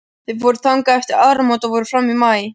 Þau fóru þangað eftir áramót og voru fram í maí.